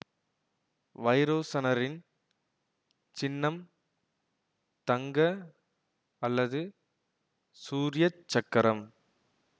வைரோசனரின் சின்னம் தங்க அல்லது சூர்ய சக்கரம்